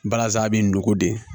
Balazan bɛ nugu de